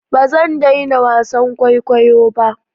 Ba zan daina wasan kwaikwayo ba.